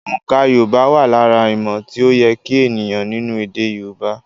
Oǹkà Yorùbá wà lára ìmò tí ó yẹ kí ènìyàn nínú èdè Yorùbá.